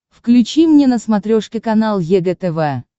включи мне на смотрешке канал егэ тв